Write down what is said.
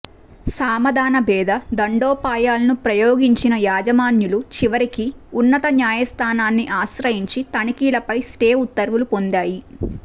సామదాన భేద దండోపాయాలను ప్రయోగించిన యాజమాన్యాలు చివరికి ఉన్నత న్యాయస్థానాన్ని ఆశ్రయించి తనిఖీలపై స్టే ఉత్తర్వులు పొందాయి